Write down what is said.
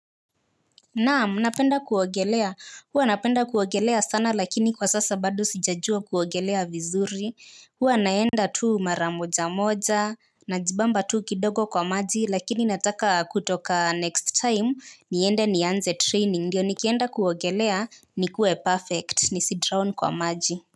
Naam napenda kuogelea huwa napenda kuogelea sana lakini kwa sasa bado sijajua kuogelea vizuri huwa naenda tu mara moja moja najibamba tu kidogo kwa maji lakini nataka kutoka next time niende nianze training ndio nikienda kuogelea nikuwe perfect nisi drown kwa maji.